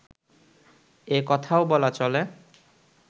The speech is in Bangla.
একথাও বলা চলে